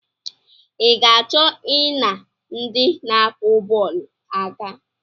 I ga-achọ I na ndị na-akụ bọọlụ aka?